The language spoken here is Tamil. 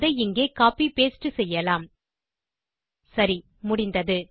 அதை இங்கே கோப்பி பாஸ்ட் செய்யலாம் சரி முடிந்தது